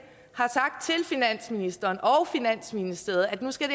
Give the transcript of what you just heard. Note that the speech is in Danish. har sagt til finansministeren og finansministeriet at nu skal